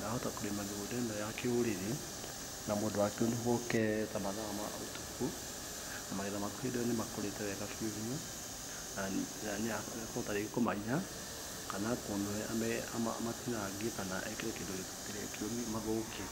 Wahota kũrĩma mĩgũnda ĩno ya kĩrũrĩrĩ na mũndũ wa kĩũnũhu oke ta mathaa ma ũtukũ, magetha maku hĩndĩ ĩyo nĩ makũrĩte wega biũ na nĩ ekũhota rĩngĩ kũmaiya kana akũnũhe amatinangie, kana ekĩre kĩndũ kĩũrũ mathũke.